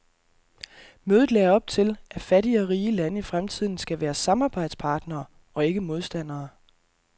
Mødet lagde op til, at fattige og rige lande i fremtiden skal være samarbejdspartnere og ikke modstandere.